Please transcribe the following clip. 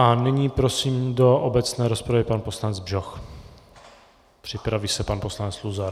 A nyní prosím do obecné rozpravy pan poslanec Bžoch, připraví se pan poslanec Luzar.